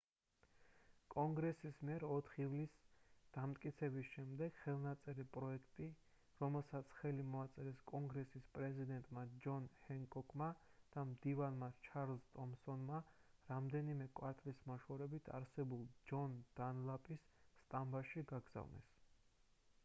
კონგრესის მიერ 4 ივლისს დამტკიცების შემდეგ ხელნაწერი პროექტი რომელსაც ხელი მოაწერეს კონგრესის პრეზიდენტმა ჯონ ჰენკოკმა და მდივანმა ჩარლზ ტომსონმა რამდენიმე კვარტალის მოშორებით არსებულ ჯონ დანლაპის სტამბაში გაგზავნეს